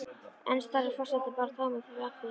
Enn starir forsetinn bara tómur fram fyrir sig.